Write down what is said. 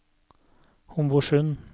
Homborsund